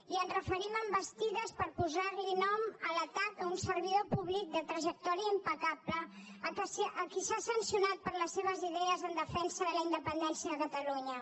i ens referim a envestides per posar nom a l’atac a un servidor públic de trajectòria impecable a qui s’ha sancionat per les seves idees en defensa de la independència de catalunya